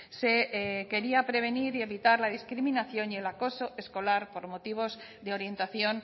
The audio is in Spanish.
se quería prevenir y evitar la discriminación y el acoso escolar por motivos de orientación